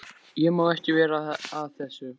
Ég má ekki vera að þessu.